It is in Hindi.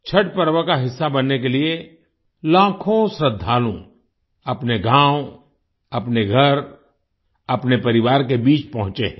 छठ पर्व का हिस्सा बनने के लिए लाखों श्रद्धालु अपने गाँव अपने घर अपने परिवार के बीच पहुँचे हैं